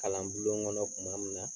Kalan bulon gɔnɔ kuma min na